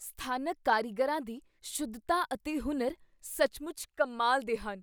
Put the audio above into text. ਸਥਾਨਕ ਕਾਰੀਗਰਾਂ ਦੀ ਸ਼ੁੱਧਤਾ ਅਤੇ ਹੁਨਰ ਸੱਚਮੁੱਚ ਕਮਾਲ ਦੇ ਹਨ।